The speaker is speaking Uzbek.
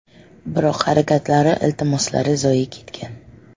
Biroq harakatlari, iltimoslari zoye ketgan.